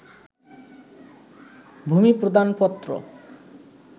ভূমি প্রদানপত্র